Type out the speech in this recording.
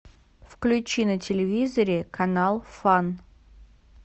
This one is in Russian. включи на телевизоре канал фан